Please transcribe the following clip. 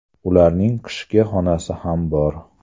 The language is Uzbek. Ularning qishki xonasi ham bor.